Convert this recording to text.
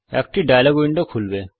একটি dialogue window খুলবে